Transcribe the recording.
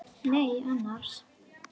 Nei annars.